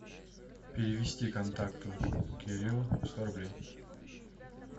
перевести контакту кириллу сто рублей